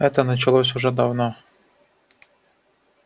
это началось уже давно